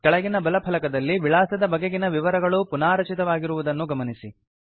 ಕೆಳಗಿನ ಬಲ ಫಲಕದಲ್ಲಿ ವಿಳಾಸದ ಬಗೆಗಿನ ವಿವರಗಳು ಪುನಾರಚಿತವಾಗಿರುದನ್ನು ಗಮನಿಸಿ